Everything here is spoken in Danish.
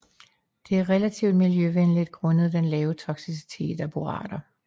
Det er relativt miljøvenligt grundet den lave toksicitet af borater